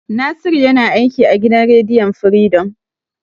Nasiru yana aiki a gidan rediyon Firidom.